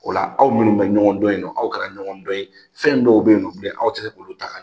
O la aw minnu bɛ ɲɔgɔn dɔ yen nɔ aw kɛra ɲɔgɔn dɔ ye fɛn dɔw bɛ yen u bilen aw tɛ se k'olu ta ka